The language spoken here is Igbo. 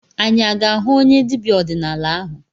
Anyị aga-ahụ onye dibịa ọdịnala ahụ?